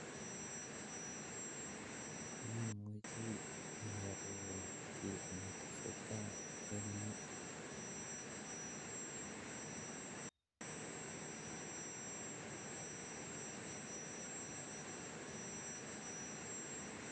Imuche iororu kiy netesetai en yu